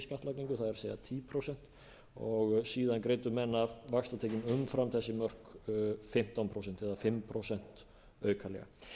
skattlagningu það er tíu prósent og síðan greiddu menn af vaxtatekjum umfram þessi mörk fimmtán prósent eða fimm prósent aukalega